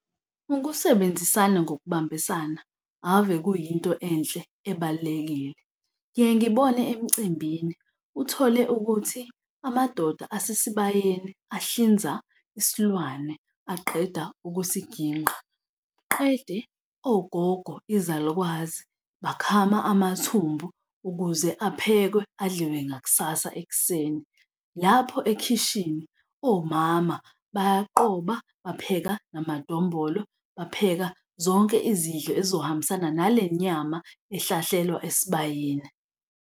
Ukusebenzisana ngokubambisana ave kuyinto enhle ebalulekile. Ngiye ngibone emcimbini. Uthole ukuthi amadoda asesibayeni ahlinza isilwane aqeda ukusigingqa, qede ogogo, izalukwazi bakhama amathumbu ukuze aphekwe adliwe ngakusasa ekuseni. Lapho ekhishini, omama bayaqoba, bapheka namadombolo, bapheka zonke izidlo ezizohambisana nale nyama ehlahlelwa esibayeni.